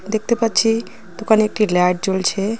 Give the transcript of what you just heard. দেখতে পাচ্ছি দোকানে একটি লাট জ্বলছে.